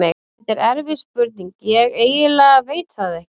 Þetta er erfið spurning, ég eiginlega veit það ekki.